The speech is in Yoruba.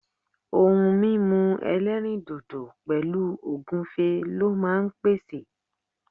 ohun mímu elerindodo pẹlu ogunfe lọ jọ ma n pèsè